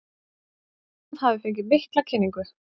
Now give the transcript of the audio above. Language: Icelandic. Ísland hafi fengið mikla kynningu